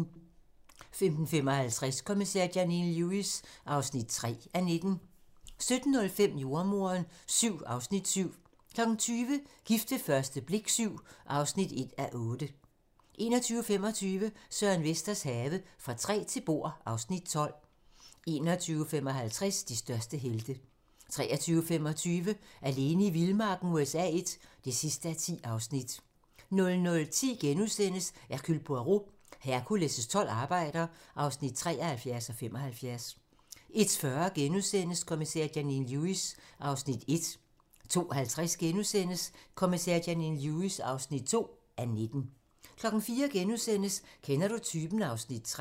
15:55: Kommissær Janine Lewis (3:19) 17:05: Jordemoderen VII (Afs. 7) 20:00: Gift ved første blik VII (1:8) 21:25: Søren Vesters have - Fra træ til bord (Afs. 12) 21:55: De største helte 23:25: Alene i vildmarken USA I (10:10) 00:10: Hercule Poirot: Hercules' tolv arbejder (73:75)* 01:40: Kommissær Janine Lewis (1:19)* 02:50: Kommissær Janine Lewis (2:19)* 04:00: Kender du typen? (Afs. 3)*